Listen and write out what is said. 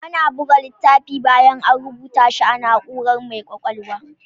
Ana buga littafi bayan A rubata shi a na'urar mai kwakwalwa